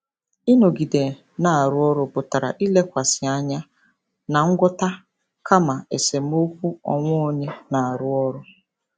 Ịnọgide na-arụ ọrụ pụtara ilekwasị anya na ngwọta kama esemokwu onwe onye na-arụ ọrụ.